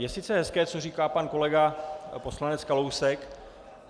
Je sice hezké, co říká pan kolega poslanec Kalousek.